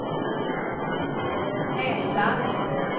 näsan